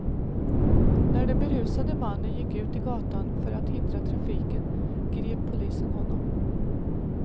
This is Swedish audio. När den berusade mannen gick ut i gatan för att hindra trafiken, grep polisen honom.